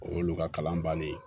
O y'olu ka kalan bannen ye